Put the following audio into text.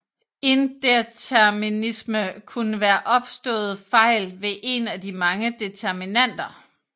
Indeterminisme kunne være opståede fejl ved en af de mange determinanter